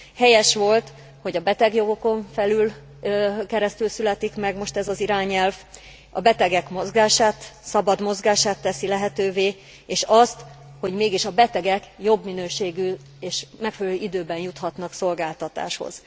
Helyes volt, hogy a betegjogokon keresztül születik most meg ez az irányelv, a betegek szabad mozgását teszi lehetővé és azt, hogy mégis a betegek jobb minőségű és megfelelő időben juthatnak szolgáltatáshoz.